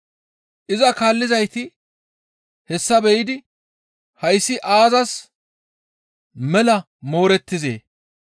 Iza kaallizayti, «Hessa be7idi hayssi aazas mela moorettizee?